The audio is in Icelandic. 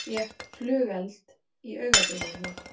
Fékk flugeld í augabrúnina